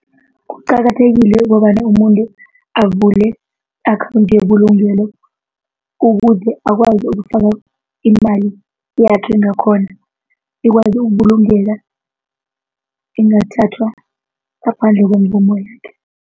Kuqakathekile ukobana umuntu avule i-akhawundi yebulungelo ukuze akwazi ukufaka imali yakhe ngakhona ikwazi ukubulungeka ingathathwa ngaphandle kwemvumo yakhe.